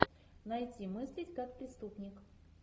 найти мыслить как преступник